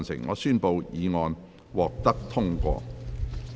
我宣布議案獲得通過。